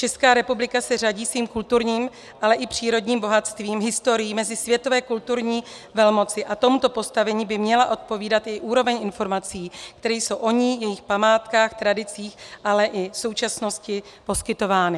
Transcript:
Česká republika se řadí svým kulturním, ale i přírodním bohatstvím, historií mezi světové kulturní velmoci a tomuto postavení by měla odpovídat i úroveň informací, které jsou o ní, jejích památkách, tradicích, ale i současnosti poskytovány.